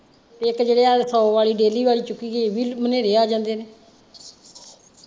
ਇਕ ਜਿਹੜੇ ਆਹ ਸੋ ਵਾਲੀ daily ਵਾਲੀ ਚੁੱਕੀ ਗਈ ਇਹ ਵੀ ਆ ਜਾਂਦੇ ਨੇ .